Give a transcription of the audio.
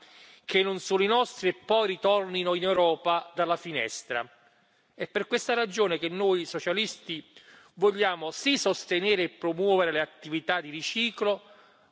È per questa ragione che noi socialisti vogliamo sì sostenere e promuovere le attività di riciclo, ma contestualmente definire limiti sempre più stringenti e più ambiziosi.